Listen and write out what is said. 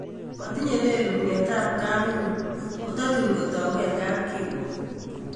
Matinye leluut ng�etabkam inyun ,o tatun kotagu en kapkiruok